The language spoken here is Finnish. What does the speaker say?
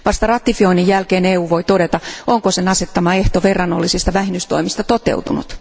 Vasta ratifioinnin jälkeen EU voi todeta, onko sen asettama ehto verrannollisista vähennystoimista toteutunut.